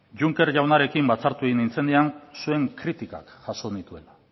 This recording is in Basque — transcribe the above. juncker jaunarekin batzartu egin nintzenean zuen kritikak jaso nituela